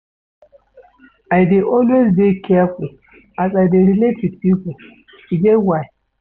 I dey always dey careful as I dey relate wit pipo, e get why.